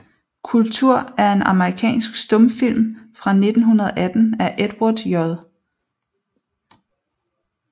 Kultur er en amerikansk stumfilm fra 1918 af Edward J